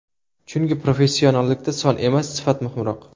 Chunki professionallikda son emas, sifat muhimroq.